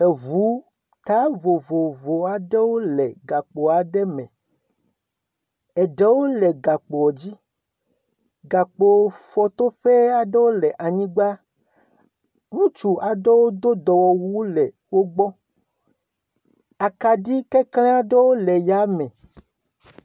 Eŋu ta vovovowo aɖewo le gakpo aɖe me, eɖewo le gakpoɔ dzi, gakpofɔtoƒe aɖewo le anyigba, ŋutsu aɖewo do dɔwɔwu le wo gbɔ, akaɖi kekle aɖewo le ya me.